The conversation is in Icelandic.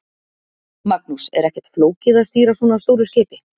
Magnús: Er ekkert flókið að stýra svona stóru skipi?